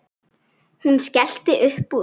Hún skellti upp úr.